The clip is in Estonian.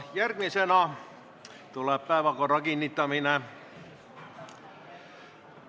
Järgmisena tuleb päevakorra kinnitamine.